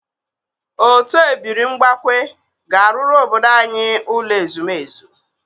Otu ebiri mbakwe ga-arụrụ obodo anyị ụlọ ezumezu.